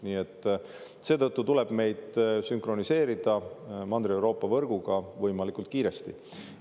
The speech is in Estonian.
Nii et seetõttu tuleb meid sünkroniseerida Mandri-Euroopa võrguga võimalikult kiiresti.